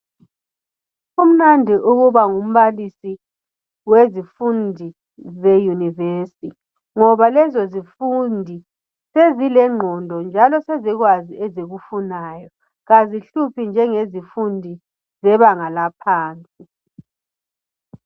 Kumnandi ukuba ngumbalisi wszifundi zeyunivesi ngoba lezo zifundi sezilengqondo sezikwazi ezikufunayo. Kazihluphi njengezifundi zebanga laphansi.